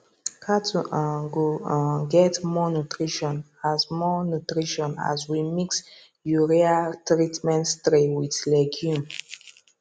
cattle um go um get more nutrition as more nutrition as we mix urea treated stray with legume